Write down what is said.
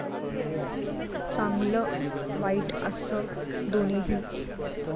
चांगल वाईट असं दोन्हीही.